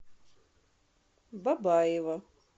бабаево